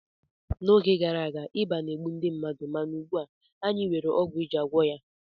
N'oge gara aga, ịba na-egbu ndị mmadụ mana ugbu a anyị nwere ọgwụ iji gwọọ ya